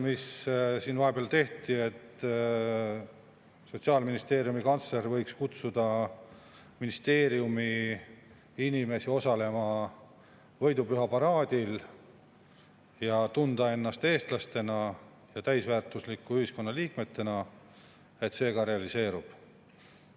… mis siin vahepeal tehti, et Sotsiaalministeeriumi kantsler võiks kutsuda ministeeriumi inimesi osalema võidupüha paraadil, et tunda ennast eestlastena ja täisväärtuslike ühiskonnaliikmetena, ka realiseerub.